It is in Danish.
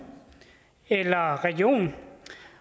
eller region